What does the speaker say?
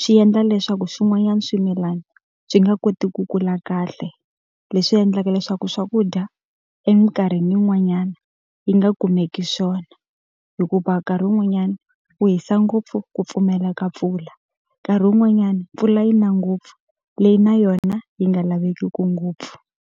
swi endla leswaku swin'wanyani swimilana swi nga koti ku kula kahle. Leswi endlaka leswaku swakudya eminkarhini yin'wanyana yi nga kumeki swona. Hikuva nkarhi wun'wanyana ku hisa ngopfu ku pfumeleka mpfula, nkarhi wun'wanyana mpfula yi na ngopfu leyi na yona yi nga lavekeki ngopfu.